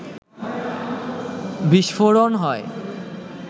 বিস্ফোরণ হয়